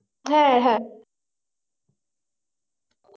হ্যাঁ হ্যাঁ